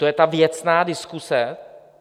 To je ta věcná diskuse?